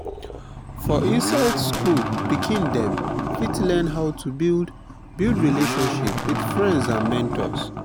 for inside school pikin dem fit learn how to build build relatiomship with friends and mentors